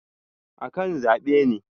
akan zabe ne